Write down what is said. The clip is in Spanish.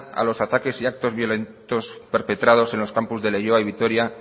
a los ataques y actos violentos perpetrados en los campos de leioa y vitoria